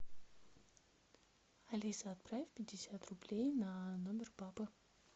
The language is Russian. алиса отправь пятьдесят рублей на номер папы